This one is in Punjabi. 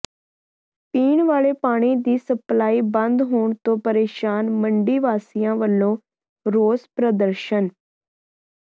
ਪੀਣ ਵਾਲੇ ਪਾਣੀ ਦੀ ਸਪਲਾਈ ਬੰਦ ਹੋਣ ਤੋਂ ਪ੍ਰੇਸ਼ਾਨ ਮੰਡੀ ਵਾਸੀਆਂ ਵੱਲੋਂ ਰੋਸ ਪ੍ਰਦਰਸ਼ਨ